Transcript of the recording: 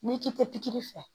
N'i k'i tɛ pikiri fɛ